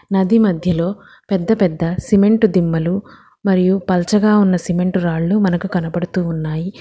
నది మధ్యలో పెద్ద పెద్ద సిమెంటు దిమ్మలు మరియు పల్చగా ఉన్న సిమెంటు రాళ్లు మనకు కనబడుతూ ఉన్నాయి.